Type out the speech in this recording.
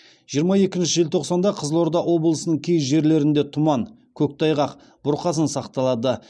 жиырма екінші желтоқсанда қызылорда облысының кей жерлерінде тұман көктайғақ бұрқасын сақталады